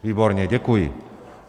Výborně, děkuji.